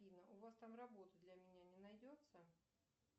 афина у вас там работы для меня не найдется